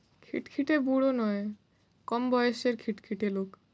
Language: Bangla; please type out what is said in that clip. খিটখিটে বুড়ো নয়, কম বয়সের খিটখিটে লোক।